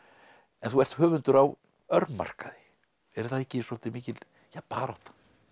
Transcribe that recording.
en þú ert höfundur á örmarkaði er það ekki svolítið mikil barátta